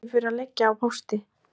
Rekinn fyrir að liggja á pósti